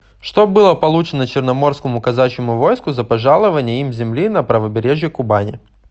что было получено черноморскому казачьему войску за пожалование им земли на правобережье кубани